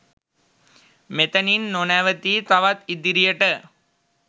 මෙතනින් නොනැවතී තවත් ඉදිරියට